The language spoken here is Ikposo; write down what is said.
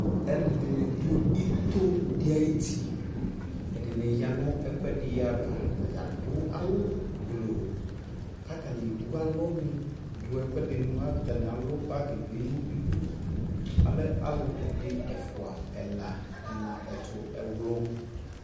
alʋɛdini dʋ itɔɔ ayʋ iti, ɛdini yanʋ ɛkuɛdini aɣa, atagya adʋ awʋ gblɔɔ kʋ atani ɛwʋ alɔ ni, atani ɛwʋ bargi bi nʋ idʋ alɛ alʋ ɛdi ɛƒʋa, ɛla, ɛna, ɛtʋ ɛwlʋ